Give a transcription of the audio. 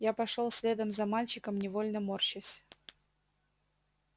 я пошёл следом за мальчиком невольно морщась